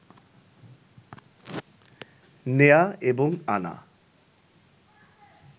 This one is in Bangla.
নেয়া এবং আনা